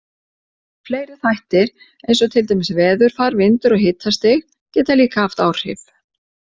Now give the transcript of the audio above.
Fleiri þættir eins og til dæmis veðurfar, vindur og hitastig, geta líka haft áhrif.